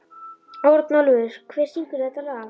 Örnólfur, hver syngur þetta lag?